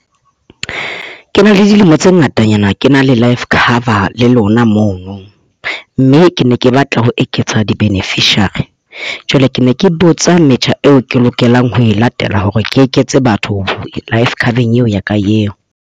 Ke na le dilemo tse ngatanyana ke na le life cover le lona mono. Mme ke ne ke batla ho eketsa di-beneficiary. Jwale ke ne ke botsa metjha eo ke lokelang ho e latela hore ke eketse batho life cover-eng eo ya ka eo.